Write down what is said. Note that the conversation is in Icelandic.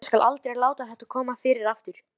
Ég skal aldrei láta þetta koma fyrir aftur.